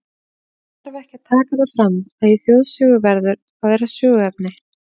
Það þarf ekki að taka það fram, að í þjóðsögu verður að vera söguefni.